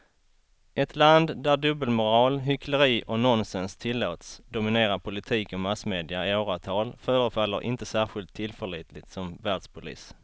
Ett land där dubbelmoral, hyckleri och nonsens tillåts dominera politik och massmedia i åratal förefaller inte särskilt tillförlitligt som världspolis.